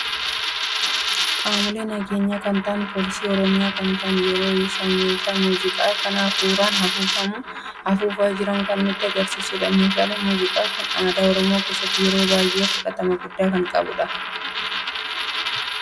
Qaamoolee nageenya kan ta'an pooliisi oromiyaa kan ta'an yeroo isaan meeshaa muuziqaa kan hafuuran afuufamu, afuufa jiran kan nutti agarsiisuudha. meeshaan muuziqaa kun aadaa oromoo keesaatti yeroo baay'ee fudhatama gudda kan qabudha.